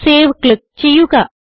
save click ചെയ്യുക